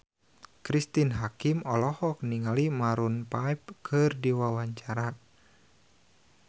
Cristine Hakim olohok ningali Maroon 5 keur diwawancara